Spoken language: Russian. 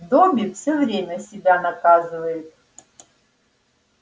добби всё время себя наказывает